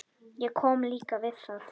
Ég kom líka við það.